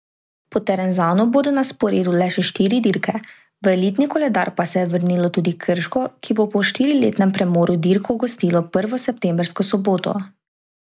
Po Terenzanu bodo na sporedu le še štiri dirke, v elitni koledar pa se je vrnilo tudi Krško, ki bo po štiriletnem premoru dirko gostilo prvo septembrsko soboto.